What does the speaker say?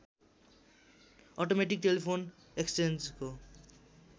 automatic telephone एक्सचेन्जको